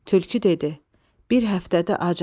Tülkü dedi: Bir həftədir acam.